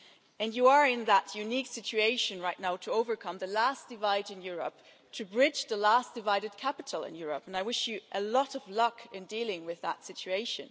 And you are in that unique situation right now to overcome the last divide in Europe, to bridge the last divided capital in Europe, and I wish you a lot of luck in dealing with that situation.